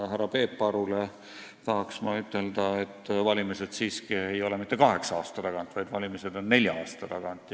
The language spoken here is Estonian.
Härra Peep Arule tahan ma ütelda, et valimised ei ole siiski mitte iga kaheksa aasta tagant, vaid need on iga nelja aasta tagant.